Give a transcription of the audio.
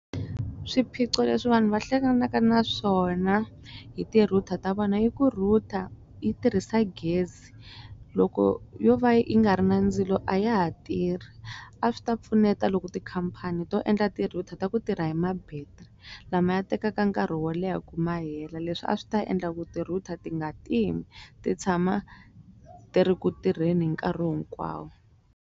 Swiphiqo leswi vanhu va hlanganaka na swona hi ti-router ta vona i ku router yi tirhisa gezi loko yo va yi nga ri na ndzilo a ya ha tirhi a swi ta pfuneta loko ku tikhampani to endla ti-router ta ku tirha hi ma battery lama ya tekaka nkarhi wo leha ku mahela leswi a swi ta endla ku ti-router ti nga timi ti tshama ti ri ku tirheni hi nkarhi hinkwawo.